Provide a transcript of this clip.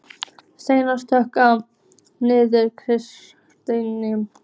Steinar, slökktu á niðurteljaranum.